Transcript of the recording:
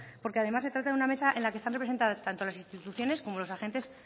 porque además se trata de una mesa en la que están representadas tanto las instituciones como los agentes